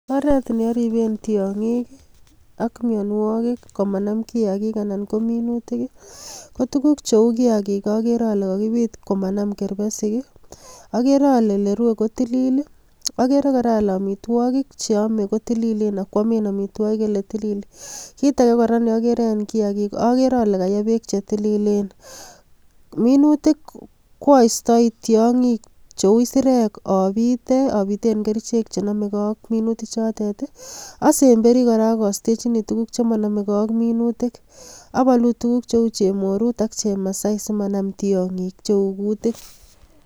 Oret neoriben tiong'ik i ak mianwakik komanam kiakik anan kominutik, ko tukuk cheu kiakik akore ole kokibit komanam kerbesik i, akere ole olerwe kotilil i, okere kora ale amitwakik cheome kotililen akwomen amitwokik eletilil, kit ake kora neokere en kiakik okere ole kayee beek chetililen, minutik ko astoi tiong'ik cheu isirek obite obiten kerichek chenomeke ak minutichotet i, osemberi kora ak astechini tukuk chemonomeke ak minutik, abolu tukuk cheu chemorut ak chemasai simanam tiong'ik cheu kutik.